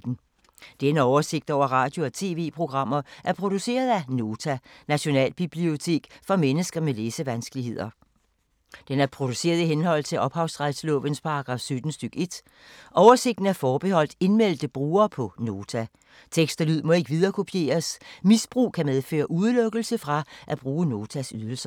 Denne oversigt over radio og TV-programmer er produceret af Nota, Nationalbibliotek for mennesker med læsevanskeligheder. Den er produceret i henhold til ophavsretslovens paragraf 17 stk. 1. Oversigten er forbeholdt indmeldte brugere på Nota. Tekst og lyd må ikke viderekopieres. Misbrug kan medføre udelukkelse fra at bruge Notas ydelser.